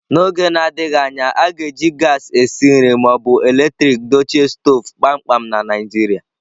N'oge na-adịghị anya, a ga-eji gaasị esi nri ma ọ bụ eletrik dochie stovu kpamkpam na Naijiria.